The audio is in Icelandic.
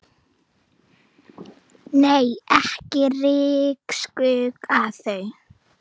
Nei, ekki ryksuga þau.